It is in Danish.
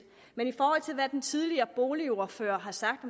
hvad den tidligere boligordfører har sagt